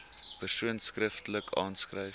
persoon skriftelik aanskryf